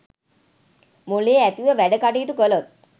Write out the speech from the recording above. මොලේ ඇතිව වැඩ කටයුතු කළොත්